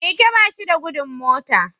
Keke bashida gudun mota